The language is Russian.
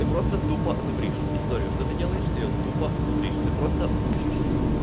ты просто тупо зубришь историю что ты делаешь ты её тупо зубришь ты просто учишь